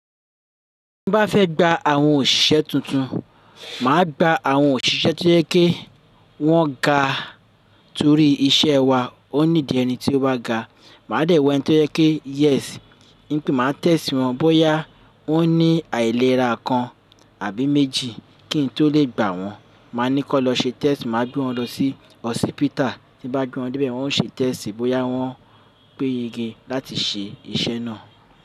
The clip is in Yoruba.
Tí n bá fẹ́ gba àwọn òṣìṣẹ́ tuntun, màá gba àwọn òṣìṣẹ́ tó yẹ ke wọ́n ga torí iṣẹ́ wa ó need ẹni tí ó bá ga. Màá dẹ̀ wa ẹni tó yẹ ke yes, ní pé màá test wọn bóyá wọn ní àìlera kan àbí méjì kí n tó lè gbà wọ́n. Màá ni kan lọ ṣe test, màá gbé wọn lọ sí hospital. Tí n bá gbé wọn dé bẹ̀ wọn o ṣe test bóyá wọn pé yege láti ṣe iṣẹ́ náà.